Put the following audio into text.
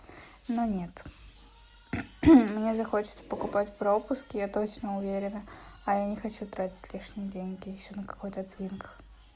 но нет мне захочется покупать пропуск я точно уверена а я не хочу тратить лишние деньги ещё на какой-то твинк